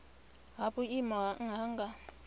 ha vhuimo ha nha nga